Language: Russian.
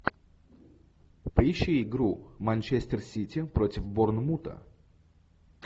поищи игру манчестер сити против борнмута